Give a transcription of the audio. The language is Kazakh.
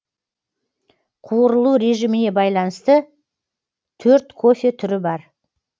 қуырылу режиміне байланысты төрт кофе түрі бар